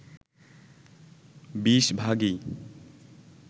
২০ ভাগই